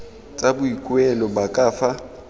tsa boikuelo ba ka fa